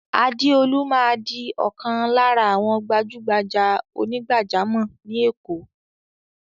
Adeolu máa di ọ̀kan lára àwọn gbajúgbajà onígbàjámọ̀ ni Èkó.